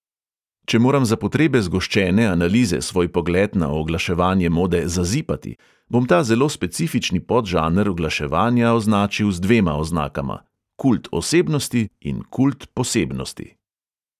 Če moram za potrebe zgoščene analize svoj pogled na oglaševanje mode "zazipati", bom ta zelo specifični podžanr oglaševanja označil z dvema oznakama: kult osebnosti in kult posebnosti.